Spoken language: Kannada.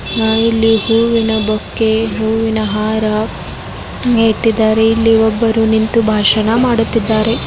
ನಾವಿಲ್ಲಿ ಹೂವಿನ ಬೊಕ್ಕೆ ಹೂವಿನ ಹಾರ ಇಟ್ಟಿದ್ದಾರೆ ಇಲ್ಲಿ ಒಬ್ಬರು ನಿಂತು ಭಾಷಣ ಮಾಡುತ್ತಿದ್ದಾರೆ.